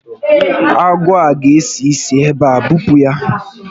Agwọ a ga esi isi ebe a, bupu ya